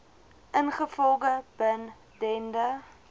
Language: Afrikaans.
ingevolge bin dende